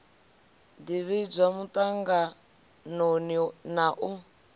ḓi vhidzwa muṱanganoni na u